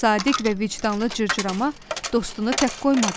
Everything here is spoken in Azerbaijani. Sadiq və vicdanlı cırcırama dostunu tək qoymadı.